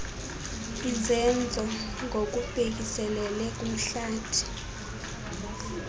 izenzo ngokubhekiselele kumhlathi